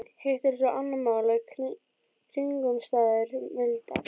Hitt er svo annað mál að kringumstæður milda.